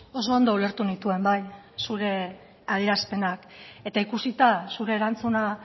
oso ondo ulertu nituen bai zure adierazpenak eta ikusita zure erantzuna